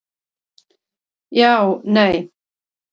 Já, nei.